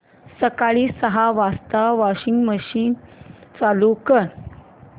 सकाळी सहा वाजता वॉशिंग मशीन चालू कर